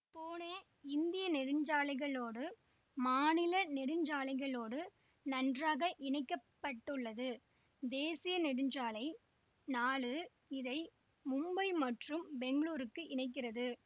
பூனே இந்திய நெடுஞ்சாலைகளோடும் மாநில நெடுஞ்சாலைகளோடும் நன்றாக இணைக்க பட்டுள்ளது தேசிய நெடுஞ்சாலை நாலு இதை மும்பை மற்றும் பெங்களூருக்கு இணைக்கிறது